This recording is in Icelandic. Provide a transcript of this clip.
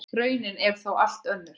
Raunin er þó allt önnur.